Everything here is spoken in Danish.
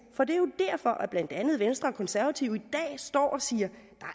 for det er jo derfor at blandt andet venstre og konservative i dag står og siger